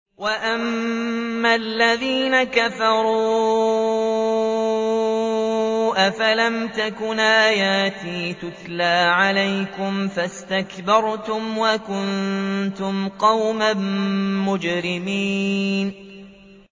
وَأَمَّا الَّذِينَ كَفَرُوا أَفَلَمْ تَكُنْ آيَاتِي تُتْلَىٰ عَلَيْكُمْ فَاسْتَكْبَرْتُمْ وَكُنتُمْ قَوْمًا مُّجْرِمِينَ